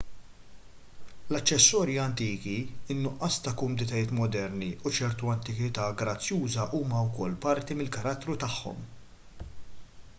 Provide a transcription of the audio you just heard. l-aċċessorji antiki in-nuqqas ta' kumditajiet moderni u ċerta antikità grazzjuża huma wkoll parti mill-karattru tagħhom